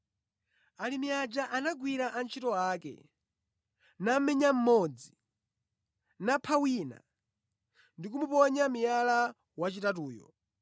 “Alimi aja anagwira antchito ake; namenya mmodzi, napha wina, ndi kumuponya miyala wachitatuyo.